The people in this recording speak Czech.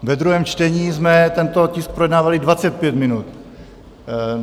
Ve druhém čtení jsme tento tisk projednávali 25 minut.